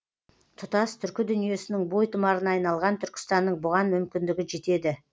тұтас түркі дүниесінің бой тұмарына айналған түркістанның бұған мүмкіндігі жетеді